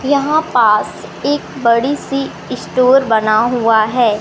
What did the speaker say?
यहां पास एक बड़ी सी स्टोर बना हुआ है।